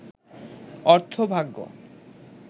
অর্থভাগ্য